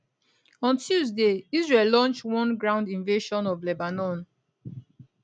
on tuesday israel launch one ground invasion of lebanon